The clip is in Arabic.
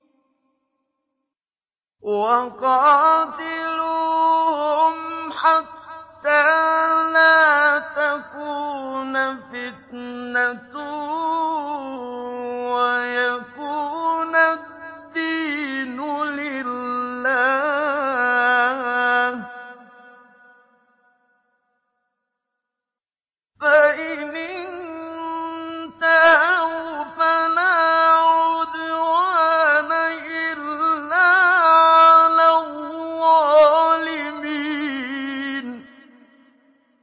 وَقَاتِلُوهُمْ حَتَّىٰ لَا تَكُونَ فِتْنَةٌ وَيَكُونَ الدِّينُ لِلَّهِ ۖ فَإِنِ انتَهَوْا فَلَا عُدْوَانَ إِلَّا عَلَى الظَّالِمِينَ